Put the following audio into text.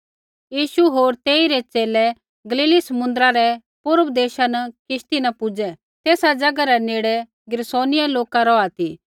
यीशु होर तेइरै च़ेले गलीली समुन्द्रा रै पूर्व देशा न किश्ती न पुजै तेसा ज़ैगा रै नेड़ गिरासेनियां लोका रौहा ती